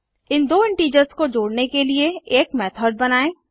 इन दो इंटीजर्स को जोड़ने के लिए एक मेथड़ बनाएँ